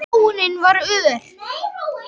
Þróunin var ör.